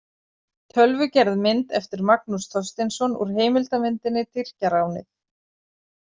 Tölvugerð mynd eftir Magnús Þorsteinsson úr heimildamyndinni Tyrkjaránið.